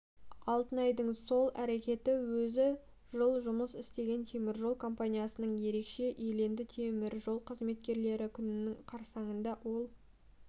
алтынайдың сол әрекеті өзі жыл жұмыс істеген теміржол компаниясында ерекше еленді теміржол қызметкерлері күнінің қарсаңында ол